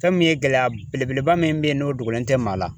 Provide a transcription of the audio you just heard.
Fɛn mun ye gɛlɛya belebeleba min be ye n'o dogolen tɛ maa la